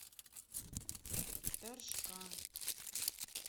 торжка